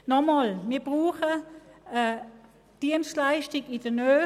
Nochmals: Wir brauchen eine Dienststelle in der Nähe.